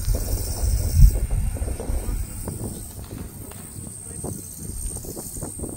мне нужно масло сливочное простоквашино семьдесят два и пять процентов